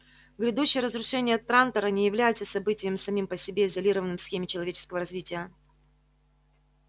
грядущее разрушение трантора не является событием самим по себе изолированным в схеме человеческого развития